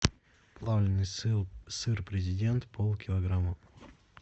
плавленый сыл сыр президент пол килограмма